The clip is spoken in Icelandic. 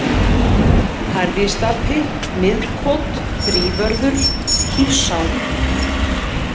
Hærristapi, Miðkot, Þrívörður, Kífsá